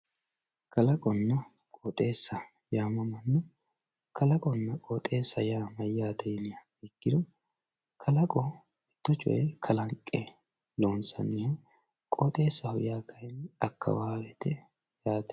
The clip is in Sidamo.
kalaqonna qooxeessa yaamamanno kalaqonna qooxeessa yaa mayyaate yiniha ikkiro kalaqo mitto coyee kalanqe loonsanniho qooxeessaho yaa kayni akkawaawete yaate.